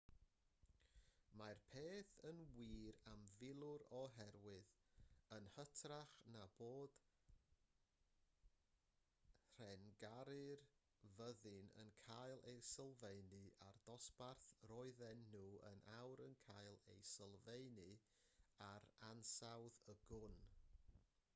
mae'r un peth yn wir am filwyr oherwydd yn hytrach na bod rhengau'r fyddin yn cael eu sylfaenu ar ddosbarth roedden nhw yn awr yn cael eu sylfaenu ar ansawdd y gwn